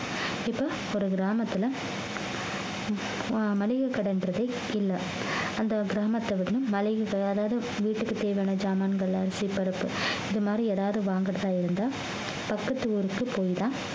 இப்போ ஒரு கிராமத்துல ஆஹ் மளிகை கடைன்றதே இல்லை அந்த கிராமத்தை விடவும் மளிக~ அதாவது வீட்டுக்கு தேவையான சாமான்கள் அரிசி பருப்பு இது மாதிரி ஏதாவது வாங்குறதா இருந்தா பக்கத்து ஊர்க்கு போய்தான்